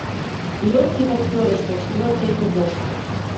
легкий как перышко четвертый эпизод